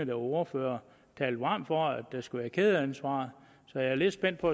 var ordfører talte varmt for at der skulle være et kædeansvar så jeg er lidt spændt på